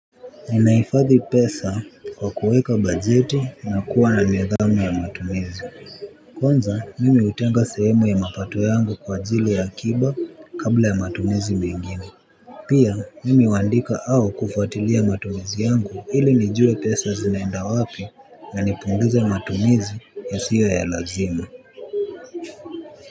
Ninaifadhi pesa kwa kuweka bajeti na kuwa na nidhamu ya matumizi. Kwanza mimi hutenga sehemu ya mapato yangu kwa ajili ya akiba kabla ya matumizi mengine. Pia mimi huandika au kufuatilia matumizi yangu ili nijue pesa zinaenda wapi na nipunguze matumizi yasiyo ya lazima.